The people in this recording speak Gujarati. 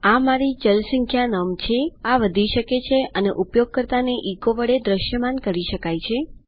આ મારી ચલ સંખ્યા નમ છેઆ વધી શકે છે અને ઉપયોગકર્તાને એચો વડે દ્રશ્યમાન કરી શકાય છે